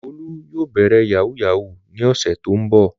Olú yóò bẹ̀rẹ̀ yahoo yahoo ní ọ̀sẹ̀ tó ń bọ̀.